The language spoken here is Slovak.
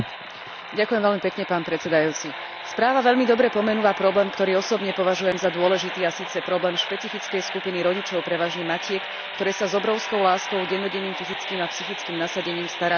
Správa veľmi dobre pomenúva problém, ktorý osobne považujem za dôležitý, a síce problém špecifickej skupiny rodičov, prevažne matiek, ktoré sa s obrovskou láskou dennodenným fyzickým a psychickým nasadením starajú o svoje deti so zdravotným postihnutím.